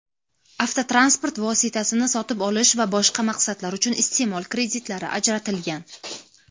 avtotransport vositasini sotib olish va boshqa maqsadlar uchun isteʼmol kreditlari ajratilgan.